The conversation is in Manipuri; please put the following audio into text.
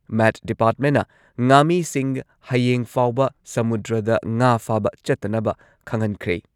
ꯃꯦꯠ ꯗꯤꯄꯥꯔꯠꯃꯦꯟꯠꯅ ꯉꯥꯃꯤꯁꯤꯡ ꯍꯌꯦꯡ ꯐꯥꯎꯕ ꯁꯃꯨꯗ꯭ꯔꯗ ꯉꯥ ꯐꯥꯕ ꯆꯠꯇꯅꯕ ꯈꯪꯍꯟꯈ꯭ꯔꯦ꯫